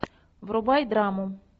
врубай драму